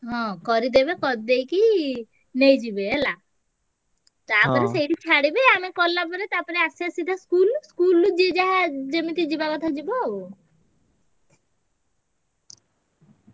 ହଁ କରିଦେବେ କରିଦେଇକି ନେଇଯିବେ ହେଲା। ସେଇଠି ଛାଡ଼ିବେ ଆମେ ଗଲାପରେ ତାପରେ ଆସିଆ ସିଧା school, school ରୁ ଯିଏ ଯାହା ଯେମିତି ଯିବା କଥା ଯିବ ଆଉ।